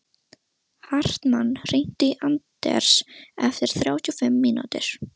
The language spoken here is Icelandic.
Hartmann, hringdu í Anders eftir þrjátíu og fimm mínútur.